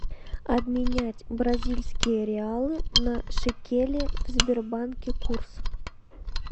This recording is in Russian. обменять бразильские реалы на шекели в сбербанке курс